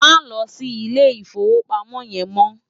Má lò si Ilé Ifówópámò yèn mò